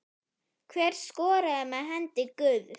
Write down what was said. Hver skoraði með hendi guðs?